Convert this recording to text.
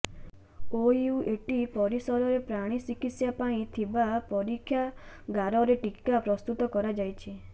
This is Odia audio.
ଓୟୁଏଟି ପରିସରରେ ପ୍ରାଣୀ ଚିକିତ୍ସା ପାଇଁ ଥିବା ପରୀକ୍ଷାଗାରରେ ଟିକା ପ୍ରସ୍ତୁତ କରାଯାଉଛି